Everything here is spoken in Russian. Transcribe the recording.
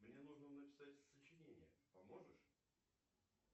мне нужно написать сочинение поможешь